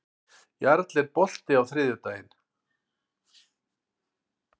Jarl, er bolti á þriðjudaginn?